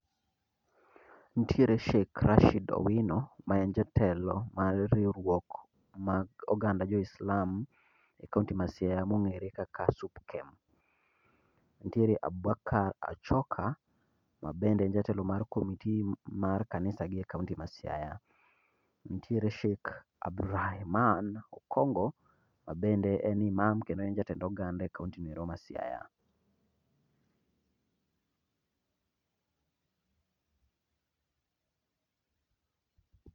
Nitiere Sheik Rashid Owino ma en jatelo mar riurok mag oganda jo Islam e kaonti ma Siaya mong'ere kaka SUPKEM, nitiere Abubakar Achoka mabende en jatelo mar committee mar kanisagi e kaonti ma Siaya, nitiere Sheik Abrahiman Okongo mabende en Imam kendo en jatend oganda e kaontino endo ma Siaya